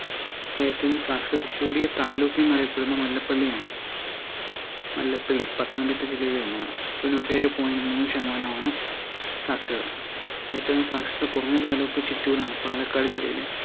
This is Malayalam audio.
ഏറ്റവും കൂടുതൽ സാക്ഷരതാ കൂടിയ താലൂക്ക് എന്നറിയപ്പെടുന്നത് മല്ലപ്പള്ളിയാണ് മല്ലപ്പള്ളി പത്തനം തിട്ട ജില്ലയിലാണ് തൊണ്ണൂറ്റിയേഴേ പോയിന്റ് മൂന്ന് ശതമാനമാണ് സാക്ഷരതാ ഏറ്റവും സക്ഷരത കുറഞ്ഞ താലൂക്ക് ചിറ്റൂരാണ് പാലക്കാട് ജില്ലയിലെ